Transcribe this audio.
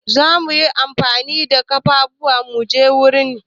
Za mu yi amfani da kafafun mu je wurin.